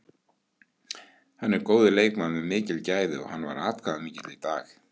Hann er góður leikmaður með mikil gæði og hann var atkvæðamikill í dag.